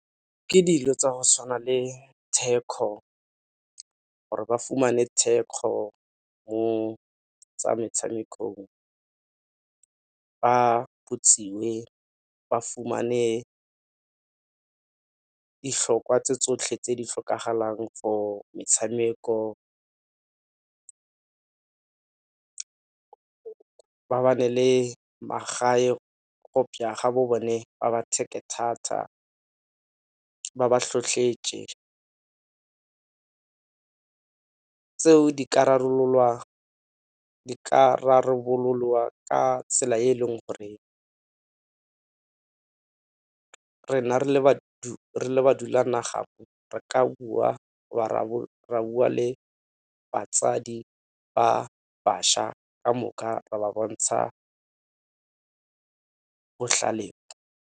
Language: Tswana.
Ke dilo tsa go tshwana le thekgo gore ba fumane thekgo mo tsa metshamekong, ba botsiwe ba fumane ditlhokwa tse tsotlhe tse di tlhokagalang for metshameko. Ba ba ne le magae ga bo bone ba ba thata, ba ba . Tseo di ka rarabololwa ka tsela e e leng gore rena re le ba ra bua ra bua le batsadi ba bašwa ka moka ra ba bontsha botlhale.